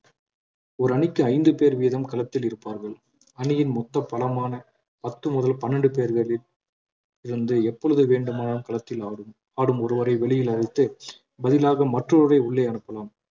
ஒரு அணிக்கு ஐந்து பேர் வீதம் களத்தில் இருப்பார்கள் அணியின் மொத்த பலமான பத்து முதல் பனிரெண்டு பேர்களில் இருந்து எப்பொழுது வேண்டுமானாலும் களத்தில் ஆடும் ஆடும் ஒருவரை வெளியில் அழைத்து பதிலாக மற்ற ஒருவரை உள்ளே அனுப்பலாம்